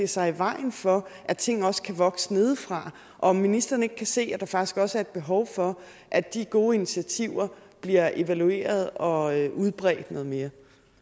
sig i vejen for at ting også kan vokse nedefra og om ministeren ikke kan se at der faktisk også er et behov for at de gode initiativer bliver evalueret og udbredt noget mere